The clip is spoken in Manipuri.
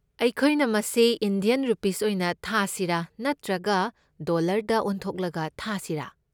ꯑꯩꯈꯣꯏꯅ ꯃꯁꯤ ꯏꯟꯗꯤꯌꯟ ꯔꯨꯄꯤꯁ ꯑꯣꯏꯅ ꯊꯥꯁꯤꯔꯥ ꯅꯠꯇ꯭ꯔꯒ ꯗꯣꯂꯔꯗ ꯑꯣꯟꯊꯣꯛꯂꯒ ꯊꯥꯁꯤꯔꯥ?